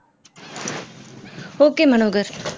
okay Manohar